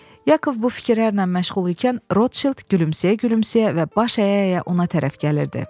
Yakov bu fikirlərlə məşğul ikən Rotşild gülümsəyə-gülümsəyə və baş əyə-əyə ona tərəf gəlirdi.